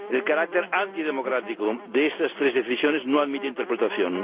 El carácter antidemocrático de estas tres decisiones no admite interpretación.